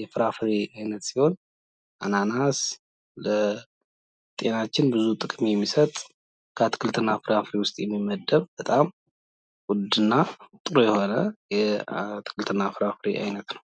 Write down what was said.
የፍራፍሬ አይነት ሲሆን አናናስ ለጤናችን ብዙ ጥቅምን የሚሰጥ ከአትክልትና ፍራፍሬዎች ውስጥ የሚመደብ በጣም ውድ እና ጥሩ የሆነ የአትክልትና ፍራፍሬ አይነት ነው።